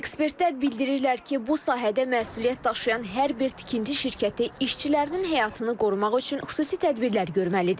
Ekspertlər bildirirlər ki, bu sahədə məsuliyyət daşıyan hər bir tikinti şirkəti işçilərinin həyatını qorumaq üçün xüsusi tədbirlər görməlidir.